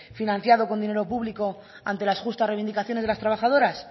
financiado con dinero público ante las justas reivindicaciones de las trabajadoras